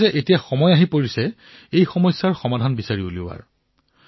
কেৱল ৮ এতিয়া সময় আহি পৰিছে ইয়াৰ সমাধান উলিওৱাৰ